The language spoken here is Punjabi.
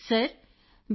Kritika sir B